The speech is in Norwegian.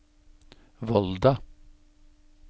Volda